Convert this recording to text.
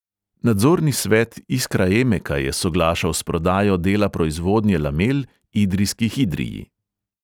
Nadzorni svet iskraemeka je soglašal s prodajo dela proizvodnje lamel idrijski hidrii.